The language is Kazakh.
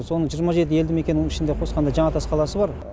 соның жиырма жеті елді мекеннің ішінде қосқанда жаңатас қаласы бар